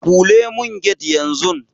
Kule mun get yan zun